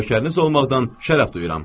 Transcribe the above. Lökəriniz olmaqdan şərəf duyuram.